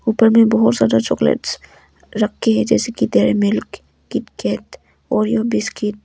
ऊपर में बहुत सारा चॉकलेट्स रखी है जैसे कि Dairy Milk KitKat Oreo biscuits.